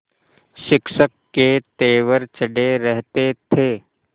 शिक्षक के तेवर चढ़े रहते थे